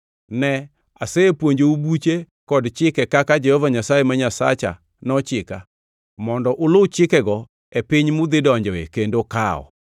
Ne, asepuonjou buche kod chike kaka ne Jehova Nyasaye ma Nyasacha nochika, mondo uluw chikenego e piny mudhidonjoe kendo kawo.